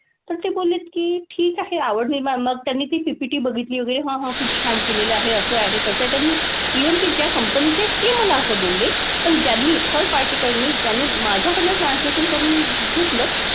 पण ते बोललेत की ठीक आहे आवड निर्माण, मग त्यांनी ती PPT बघितली वगैरे. मग हां खूप छान केलेलं आहे असं आहे, तसं आहे. त्यांनी even ते ज्या company चे ते मला असं बोलले. पण ज्यांनी third party कडनं ज्यांनी माझ्याकडनं translation करून घेतलं,